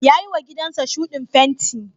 Ya yiwa gidansa shuɗin fenti.